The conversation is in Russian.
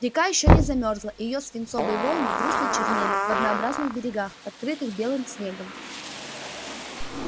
река ещё не замерзала и её свинцовые волны грустно чернели в однообразных берегах покрытых белым снегом